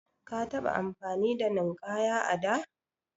Ka taɓa amfani da Ninkaya a da?